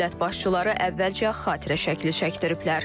Dövlət başçıları əvvəlcə xatirə şəkli çəkdiriblər.